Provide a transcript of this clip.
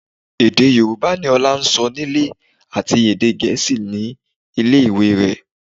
Èdè Yorùbá ni Ọlá ń sọ nílé àti èdè Gẹ̀ẹ́sì ní ilé ìwé rẹ̀